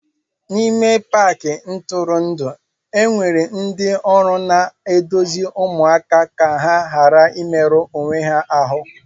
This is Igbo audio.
N'ime Paakị ntụrụndụ enwere ndị ọrụ na-eduzi ụmụaka ka ha ghara imerụ onwe ha ahụ